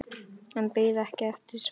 En beið ekki eftir svari.